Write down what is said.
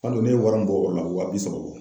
Hali o, ne ye wari mun bɔ o la, a bi wa bi saba bɔ.